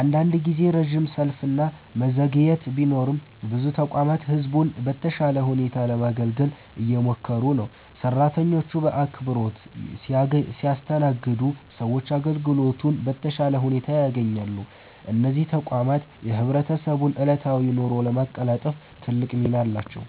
አንዳንድ ጊዜ ረጅም ሰልፍ እና መዘግየት ቢኖርም ብዙ ተቋማት ህዝቡን በተሻለ ሁኔታ ለማገልገል እየሞከሩ ነው። ሰራተኞቹ በአክብሮት ሲያስተናግዱ ሰዎች አገልግሎቱን በተሻለ ሁኔታ ያገኛሉ። እነዚህ ተቋማት የህብረተሰቡን ዕለታዊ ኑሮ ለማቀላጠፍ ትልቅ ሚና አላቸው።